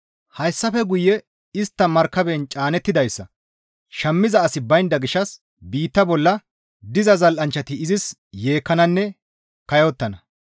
Hayssafe guye istta markaben caanettidayssa shammiza asi baynda gishshas biitta bolla diza zal7anchchati izis yeekkananne kayottana.